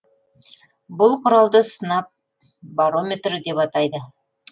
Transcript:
бұл құралды сынап барометрі деп атайды